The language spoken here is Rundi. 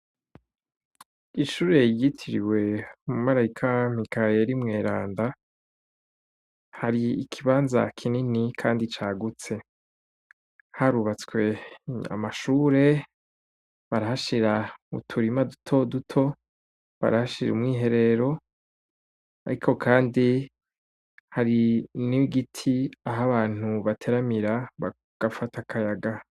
Ishure ryitiriwe umumarayika "Mikaheri mweranda" , hari ikibanza kinini kandi cagutse. Harubatswe amashure, barahashira uturima dutoduto, barahashira umwiherero, ariko kandi hari n'igiti aho abantu bateramira bagafata akayaga.